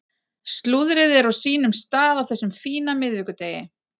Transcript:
Slúðrið er á sínum stað á þessum fína miðvikudegi.